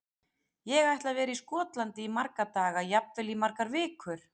Ég ætla að vera í Skotlandi í marga daga, jafnvel í margar vikur.